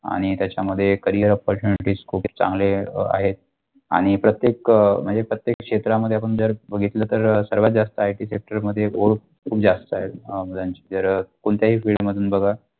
आणि त्याचा मध्ये Career percentage खुप चांगले आहेत आणि प्रत्येक म्णजे प्रत्येक क्षेत्रामध्ये आपण जर बघितलं तर सर्व जास्त आहे sector मध्ये खूप जास्त आहे जर कोणत्याही field मध्ये बगा.